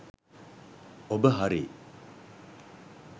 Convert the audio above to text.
ඔබ හරි.